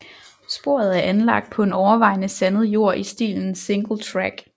Sporet er anlagt på overvejende sandet jord i stilen Singletrack